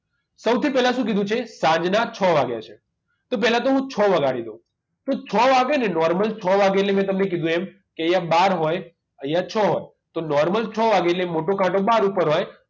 સૌથી પહેલા શું કીધું છે સાંજના છ વાગ્યા છે તો પહેલા તો હું છ વગાડી દઉં તો છ વાગ્યે ને normal છ વાગે એટલે મેં તમને કીધુ એમ કે અહીંયા બાર હોય અહીંયા છ હોય તો normal છ વાગે એટલે મોટો કાંટો બાર ઉપર હોય